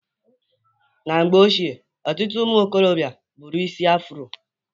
Na mgbe ochie, ọtụtụ ụmụikorobịa buru isi Afro.